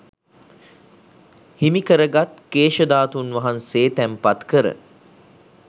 හිමිකර ගත් කේශ ධාතුන් වහන්සේ තැන්පත් කර